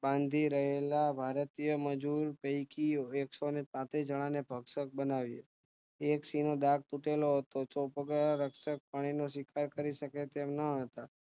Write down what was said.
બાંધી રહેલા ભારતોય મજુર પૈકી એકસો પાંત્રીસ જણાને ભક્ષક બનાવ્યા એક સિંહ નો દાંત તૂટેલો હતો ચોપગા પ્રાણીનો શિકાર કરીશકે તેમ ન હતા